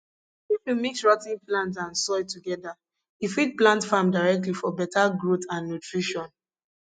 if you mix rot ten plants and soil together you fit plant farm directly for better growth and nutrition